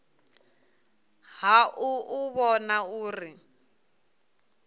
ha u u vhona uri